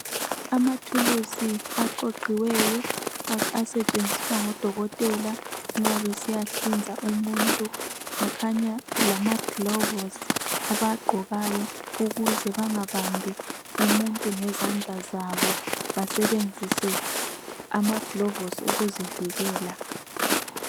Amathuluzi aqoqiweyo asentshenziswa ngodokotela nxa besiyahlinza umuntu kukhanya kulamaglovusi abawaqgokayo ukuze bengabambi umuntu ngezandla zabo basebenzise amaglovusi ukuzivikela